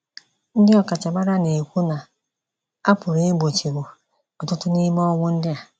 Ndị ọkachamara na - ekwu na a pụrụ igbochiwo ọtụtụ n’ime ọnwụ ndị a.